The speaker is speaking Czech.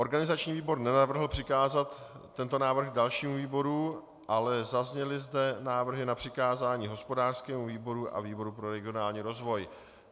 Organizační výbor nenavrhl přikázat tento návrh dalšímu výboru, ale zazněly zde návrhy na přikázání hospodářskému výboru a výboru pro regionální rozvoj.